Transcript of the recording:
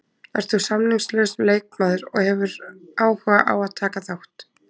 Ert þú samningslaus leikmaður og hefur áhuga á að taka þátt?